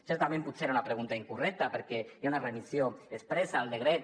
certament potser era una pregunta incorrecta perquè hi ha una remissió expressa al decret